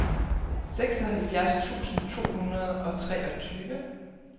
seksoghalvfjerds tusind to hundrede og treogtyve